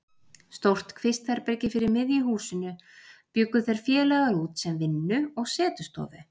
Stórt kvistherbergi fyrir miðju húsinu bjuggu þeir félagar út sem vinnu- og setustofu.